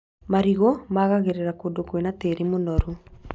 Marigũ magaagĩraga kũndũ kwĩna tĩĩri mũnoru